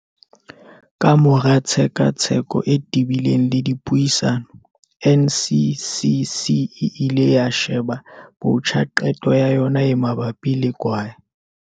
Kamora tshekatsheko e te-bileng le dipuisano, NCCC e ile ya sheba botjha qeto ya yona e mabapi le kwae.